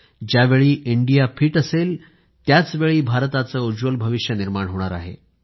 ज्यावेळी India fit असेल त्याचवेळी भारताचे उज्ज्वल भविष्य निर्माण होणार आहे